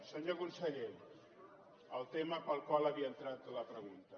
senyor conseller el tema pel qual havia entrat la pregunta